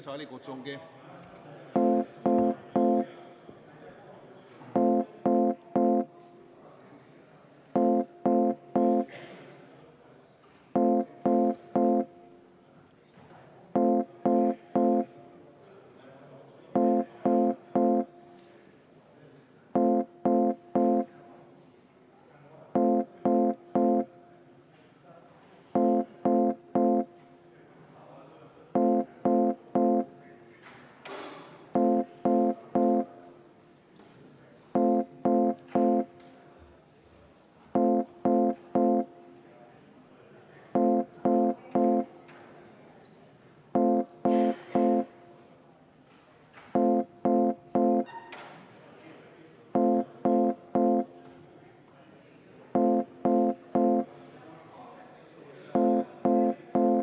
Saalikutsung.